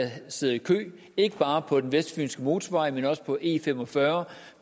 sidder i kø ikke bare på den vestfynske motorvej men også på e45